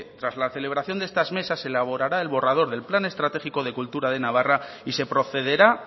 tras la celebración de estas mesas se elaborará el borrador del plan estratégico de cultura de navarra y se procederá